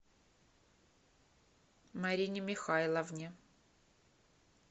марине михайловне